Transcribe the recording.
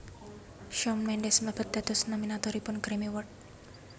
Shawn Mendes mlebet dados nominatoripun Grammy Awards